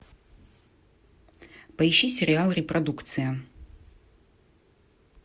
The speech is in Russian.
поищи сериал репродукция